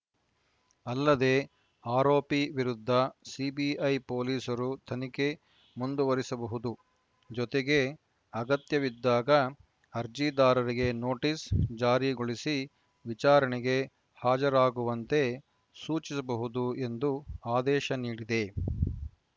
ಅಲ್ಲದೆ ಆರೋಪಿ ವಿರುದ್ಧ ಸಿಬಿಐ ಪೊಲೀಸರು ತನಿಖೆ ಮುಂದುವರಿಸಬಹುದು ಜೊತೆಗೆ ಅಗತ್ಯವಿದ್ದಾಗ ಅರ್ಜಿದಾರರಿಗೆ ನೋಟಿಸ್‌ ಜಾರಿಗೊಳಿಸಿ ವಿಚಾರಣೆಗೆ ಹಾಜರಾಗುವಂತೆ ಸೂಚಿಸಬಹುದು ಎಂದು ಆದೇಶ ನೀಡಿದೆ